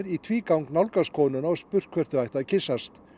í tvígang nálgast konuna og spurt hvort þau ættu að kyssast